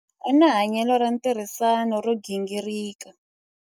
U na hanyelo ra ntirhisano ro gingirika.